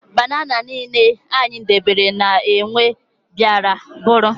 Banana niile anyị debere ka enwe bịara bụrụ